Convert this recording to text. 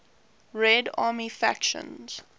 red army faction